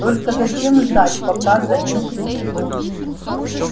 только зачем ждать пока за ним придут